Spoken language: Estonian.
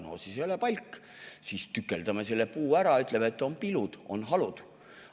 No siis ei ole see palk, siis tükeldame selle puu ära ja ütleme, et need on halud.